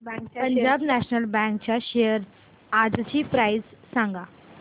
Punjab national bank च्या shares आजची price सांगा